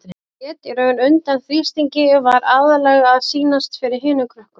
Hún lét í raun undan þrýstingi, var aðallega að sýnast fyrir hinum krökkunum.